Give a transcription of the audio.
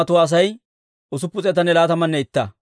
Laa"entso Elaama yaratuu 1,254.